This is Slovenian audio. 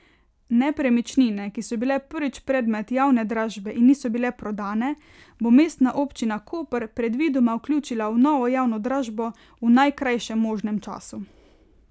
Nepremičnine, ki so bile prvič predmet javne dražbe in niso bile prodane, bo Mestna občina Koper predvidoma vključila v novo javno dražbo v najkrajšem možnem času.